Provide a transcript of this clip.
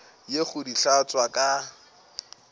ye go di hlatswa ka